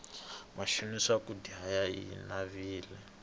mixavo ya swakudya yi navile